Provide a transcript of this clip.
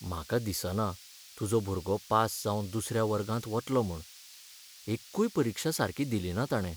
म्हाका दिसना तुजो भुरगो पास जावन दुसऱ्या वर्गांत वतलो म्हूण. एक्कूय परिक्षा सारकी दिलिना ताणे.